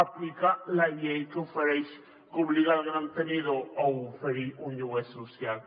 aplica la llei que obliga els grans tenidors a oferir un lloguer social